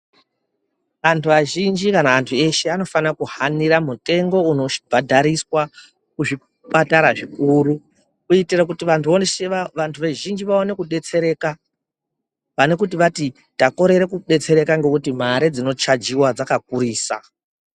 Antu azhinji kana antu eshe anofana kuhanira mutengo unobhadhariswa muzvipatara zvikuru kuitire kuti vantu vazvhinji vaone kudetsereka .Pane kuti vati takorere kubetsereka ngekuti mare dzinochajiwa dzakakurisa.